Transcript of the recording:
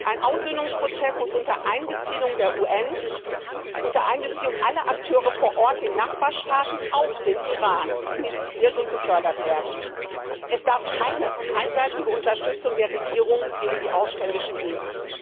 Ein Aussöhnungsprozess muss unter Einbeziehung der VN sowie aller Akteure vor Ort, auch in den Nachbarstaaten, wie dem Iran, initiiert und gefördert werden. Es darf keine einseitige Unterstützung der Regierung gegen die Aufständischen geben.